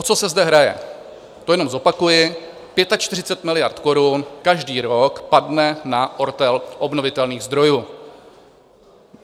O co se zde hraje, to jenom zopakuji: 45 miliard korun každý rok padne na ortel obnovitelných zdrojů.